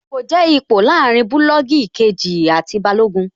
Ipò jẹ́ ipò láàrin bulọọgi kejì àti Balógun